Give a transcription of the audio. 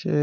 Ṣé